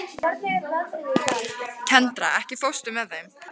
Kendra, ekki fórstu með þeim?